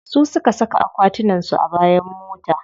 Su suka saka akwatunan su a bayan mota.